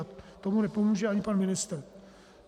A tomu nepomůže ani pan ministr.